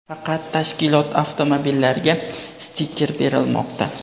faqat tashkilot avtomobillariga stiker berilmoqda.